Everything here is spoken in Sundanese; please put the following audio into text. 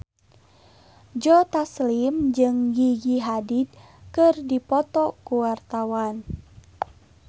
Joe Taslim jeung Gigi Hadid keur dipoto ku wartawan